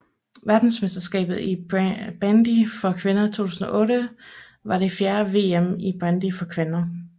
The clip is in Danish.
Verdensmesterskabet i bandy for kvinder 2008 var det fjerde VM i bandy for kvinder